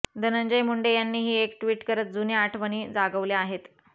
धनंजय मुंडे यांनीही एक ट्विट करत जुन्या आठवणी जागवल्या आहेत